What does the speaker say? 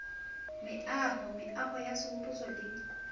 meaho meaho ya sehopotso le